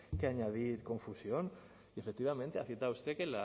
que añadir confusión y efectivamente ha citado usted que